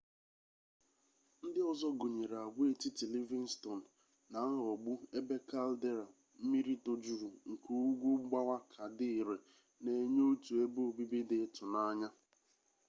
ndị ọzọ gụnyere agwaetiti livingston na nghọgbu ebe caldera mmiri tojuru nke ugwu mgbawa ka dị ire na-enye otu ebe obibi dị ịtụnanya